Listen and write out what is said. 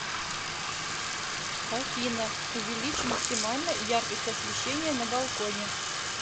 афина увеличь максимально яркость освещения на балконе